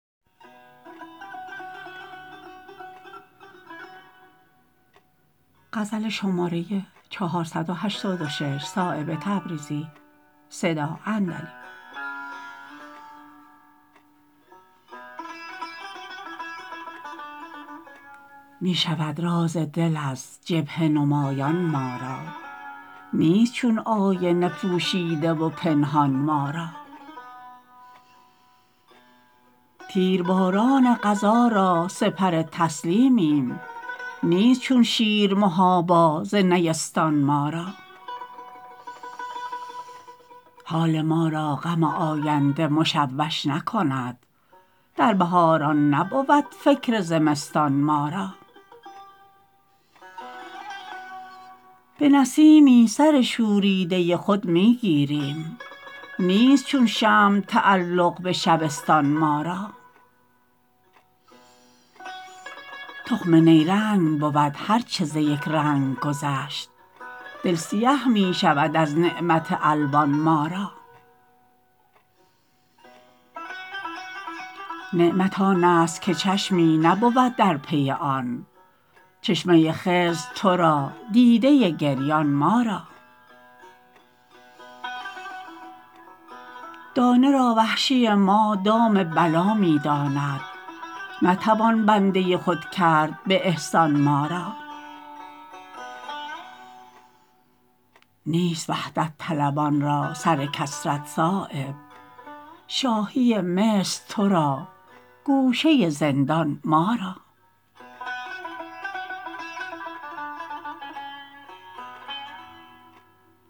می شود راز دل از جبهه نمایان ما را نیست چون آینه پوشیده و پنهان ما را تیرباران قضا را سپر تسلیمیم نیست چون شیر محابا ز نیستان ما را حال ما را غم آینده مشوش نکند در بهاران نبود فکر زمستان ما را به نسیمی سر شوریده خود می گیریم نیست چون شمع تعلق به شبستان ما را تخم نیرنگ بود هر چه ز یک رنگ گذشت دل سیه می شود از نعمت الوان ما را نعمت آن است که چشمی نبود در پی آن چشمه خضر ترا دیده گریان ما را دانه را وحشی ما دام بلا می داند نتوان بنده خود کرد به احسان ما را نیست وحدت طلبان را سر کثرت صایب شاهی مصر ترا گوشه زندان ما را